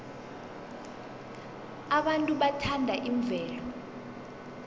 abantu bathanda imvelo